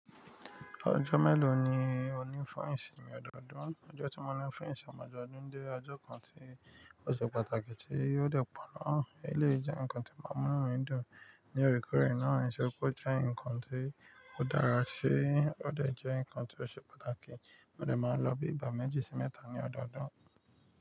Ọjọ́ mélòó ni o ní fún ìsinmi ọdọọdún? Ọjọ́ tí mo ní fún ìsìn ọmọ ọdọọdún jẹ́ ọjọ́ kan tí ó ṣe pàtàkì tí ó dè pọ nà. Eléyìí jẹ́ ǹkan tí màá mú'nu mi dùn ní oorekoúkọ ìrìnà, ṣe kó jẹ́ ǹkan tí ó dára ṣe, ó dẹ̀ jẹ́ ǹkan tí ó ṣe pàtàkì, mo dẹ̀ máa ń lọ bí i bà mẹ́jì sí mẹ́ta ní ọdọọdún.